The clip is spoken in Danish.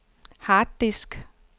harddisk